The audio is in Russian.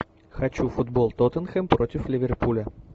хочу футбол тоттенхэм против ливерпуля